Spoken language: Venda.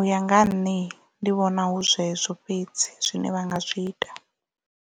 uya nga ha nṋe ndi vhona hu zwezwo fhedzi zwine vha nga zwi ita.